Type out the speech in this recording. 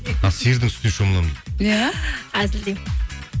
а сиырдың сүтіне шомыламын иә әзілдеймін